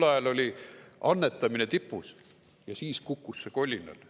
Tol ajal oli annetamine tipus ja siis kukkus see kolinal.